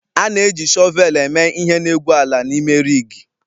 A na-eji shọvel eme ihe n'egwu ala na ime rigi